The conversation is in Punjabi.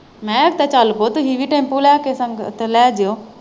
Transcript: ਮੈਂ ਕਿਹਾ ਉਦਾਂ ਚੱਲ ਪੋ ਤੁਸੀਂ ਵੀ ਟੈਂਪੂ ਲੈ ਕੇ ਸੰਗਤ ਲੈ ਜਉ।